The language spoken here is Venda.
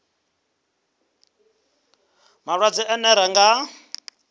malwadze ane ra nga a